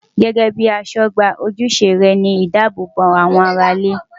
Gẹ́gẹ́ bíi aṣọ́gbà, ojúṣe rẹ̀ ni ìdáàbò bo àwọn ará ilé.